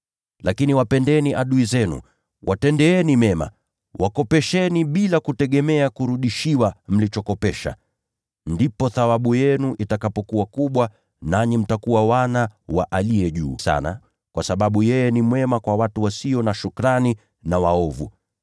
Lakini wapendeni adui zenu, watendeeni mema, wakopesheni bila kutegemea kurudishiwa mlichokopesha. Ndipo thawabu yenu itakapokuwa kubwa, nanyi mtakuwa wana wa Aliye Juu Sana, kwa sababu yeye ni mwema kwa watu wasio na shukrani na kwa wale waovu.